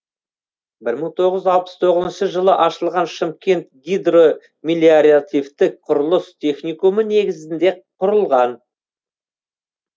бір мың тоғыз жүз алпыс тоғызыншы жылы ашылған шымкент гидромелиоративтік құрылыс техникумы негізінде құрылған